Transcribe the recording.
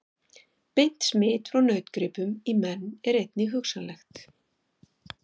Beint smit frá nautgripum í menn er einnig hugsanlegt.